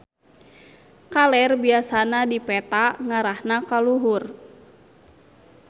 Kaler biasana di peta ngarahna ka luhur.